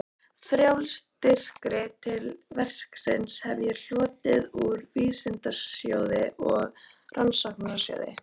Fjárstyrki til verksins hef ég hlotið úr Vísindasjóði og Rannsóknarsjóði